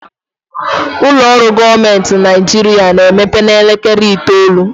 Ụlọ ọrụ gọọmenti na Naijiria ga-emepe n'elekere itoolu